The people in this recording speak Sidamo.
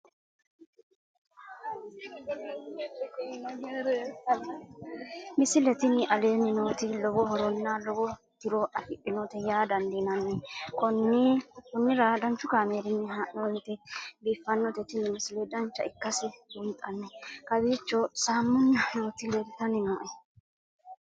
misile tini aleenni nooti lowo horonna lowo tiro afidhinote yaa dandiinanni konnira danchu kaameerinni haa'noonnite biiffannote tini misile dancha ikkase buunxanni kowiicho saamunna nooti leeltanni nooe